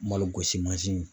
Malo gosi mansin